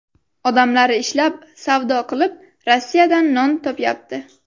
Odamlari ishlab, savdo qilib, Rossiyadan non topyapti.